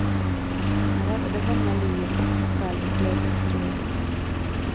Han räddade många liv och fick själv en dödlig stråldos.